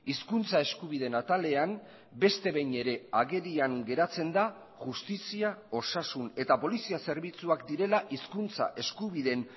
hizkuntza eskubideen atalean beste behin ere agerian geratzen da justizia osasun eta polizia zerbitzuak direla hizkuntza eskubideen